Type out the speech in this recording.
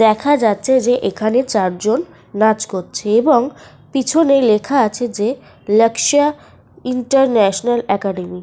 A school with latest standard লেখা আছে।